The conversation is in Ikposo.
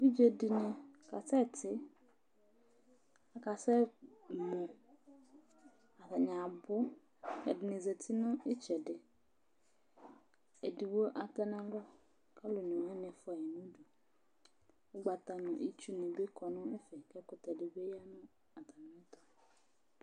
Evidze ɖíni kasɛti, akasɛmɔ Ataŋi abu Ɛɖìní zɛti ŋu itsɛɖi Ɛɖigbo toŋu alɔ kʋ alu ɔne waŋi bi fʋaɣi ŋu ʋdu Ugbata ŋu itsu nibí kɔ ŋu ɛfɛ kʋ ɛkutɛ ɖìbí ya ŋu atami ɛtu